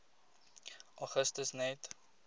augustus net